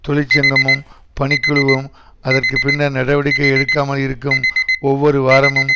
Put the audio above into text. தொழிற்சங்கமும் பணிக்குழுவும் அதற்கு பின்னர் நடவடிக்கை எடுக்காமல் இருக்கும் ஒவ்வொரு வாரமும்